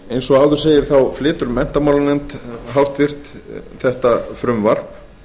eins og áður segir flytur háttvirtur menntamálanefnd þetta frumvarp